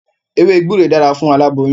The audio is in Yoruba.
Ewé gbúre dára fún aláboyún.